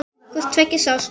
Hvort tveggja sást.